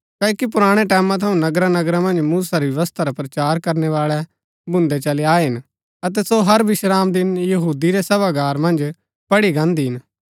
क्ओकि पुराणै टैमां थऊँ नगरा नगरा मन्ज मूसा री व्यवस्था रा प्रचार करनैवाळै भून्दै चली आये हिन अतै सो हर विश्रामदिन यहूदी रै सभागार मन्ज पढ़ी गान्दी हिन